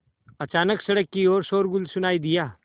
अचानक सड़क की ओर शोरगुल सुनाई दिया